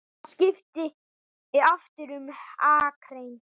Hann skipti aftur um akrein.